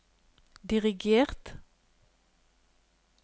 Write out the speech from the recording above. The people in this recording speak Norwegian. dirigert